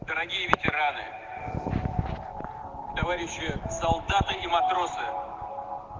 дорогие ветераны товарищи солдаты и матросы